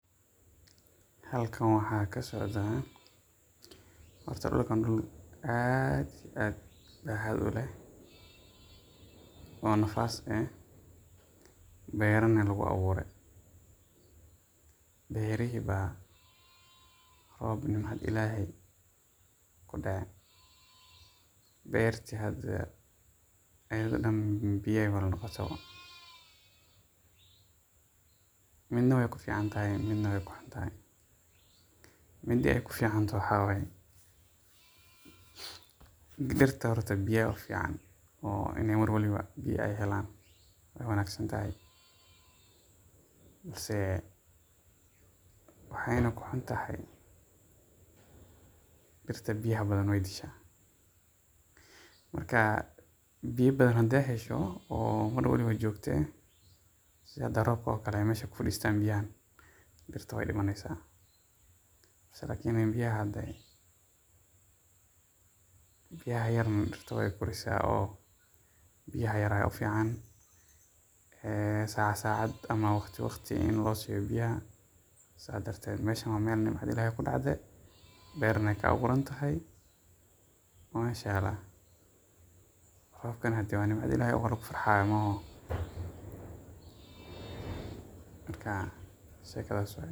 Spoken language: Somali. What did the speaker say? Halkan waxaa kasocdaa horta dulkan dul aad iyo aad hawo uleh oo nafaas eh, beerana lagu abuure, beerihi baa roob nimcad ilaheey kudace, beerti hada ayada dan biya ayeey wada noqote, midna waay ku fican tahay midna waay ku xun tahay, mida aay ku fican tahay waxaa waye dirta horta biya in mar waliba biya aay helaan waay wanagsan tahay balse waxaayna ku xun tahay dirta biyaha badan waay dishaa, marka biya badan hadaay hesho oo mar waliba joogta ah sida hada roobka oo kale meesha ku fadiistan biyahan dirta waay dimaneysa lakin biyaha yarna, marka meeshan waa meel nimcad ayaa kudacaday, roobkana waa nimcad ilaheey.